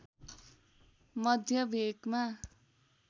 मध्य भेकमा